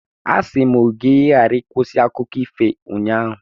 Asị m gị ka ị ghara ịkwụsị akụkọ ifo ụnyaahụ.